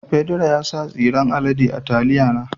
Pedro ya sa tsiren alade a taliya na.